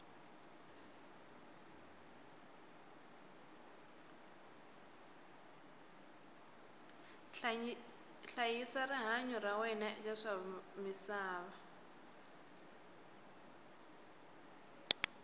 hlayisa rihanyu ra wena eka swa misava